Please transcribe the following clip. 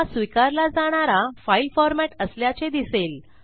हा स्वीकारला जाणारा फाइल formatअसल्याचे दिसेल